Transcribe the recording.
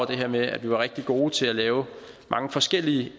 det her med at vi var rigtig gode til at lave mange forskellige